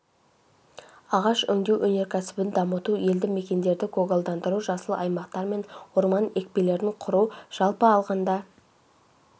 ағаш өңдеу өнеркәсібін дамыту елді мекендерді көгалдандыру жасыл аймақтар мен орман екпелерін құру жалпы алғанда